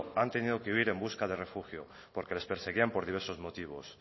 han tenido que huir en busca de refugio porque les perseguían por diversos motivos